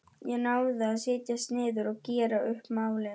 Ég náði að setjast niður og gera upp málin.